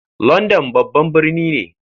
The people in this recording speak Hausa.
London babban birni ne.